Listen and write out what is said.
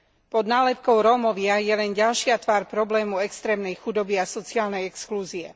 Pod nálepkou Rómovia je len ďalšia tvár problému extrémnej chudoby a sociálnej exklúzie.